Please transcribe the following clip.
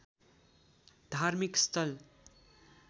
धार्मिक स्थल